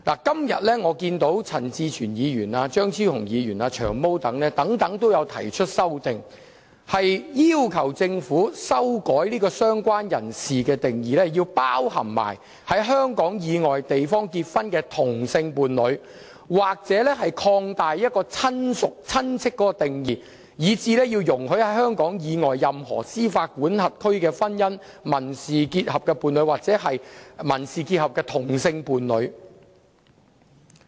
今天，陳志全議員、張超雄議員、"長毛"等均提出了修正案，要求政府修改"相關人士"的定義，以涵蓋在香港以外地方結婚的同性伴侶；或擴大"親屬"的定義，以涵蓋在香港以外任何司法管轄區的婚姻、民事伴侶或民事結合的同性伴侶。